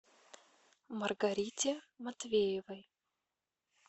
маргарите матвеевой